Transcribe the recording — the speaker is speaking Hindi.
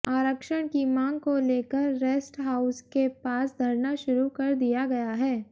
आरक्षण की मांग को लेकर रेस्ट हाउस के पास धरना शुरू कर दिया गया है